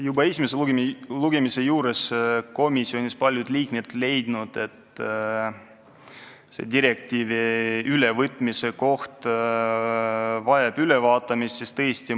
Juba esimese lugemise eel leidsid komisjonis paljud liikmed, et selle direktiivi ülevõtmine vajab hoolega läbimõtlemist.